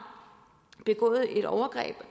begået et overgreb